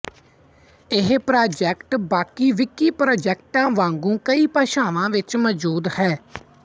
ਇਹ ਪ੍ਰਾਜੈਕਟ ਬਾਕੀ ਵਿਕੀ ਪ੍ਰਾਜੈਕਟਾਂ ਵਾਂਗੂੰ ਕਈ ਭਾਸ਼ਾਵਾਂ ਵਿੱਚ ਮੌਜੂਦ ਹੈ